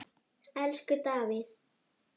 Elsku Davíð.